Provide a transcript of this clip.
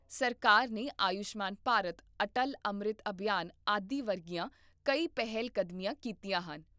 ਸਰਕਾਰ ਨੇ ਆਯੁਸ਼ਮਾਨ ਭਾਰਤ, ਅਟਲ ਅੰਮ੍ਰਿਤ ਅਭਿਆਨ ਆਦਿ ਵਰਗੀਆਂ ਕਈ ਪਹਿਲਕਦਮੀਆਂ ਕੀਤੀਆਂ ਹਨ